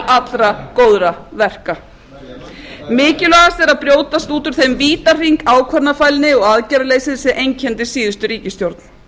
allra góðra verka mikilvægast er að brjótast út úr þeim vítahring ákvörðunarfælni og aðgerðaleysis sem einkenndi síðustu ríkisstjórn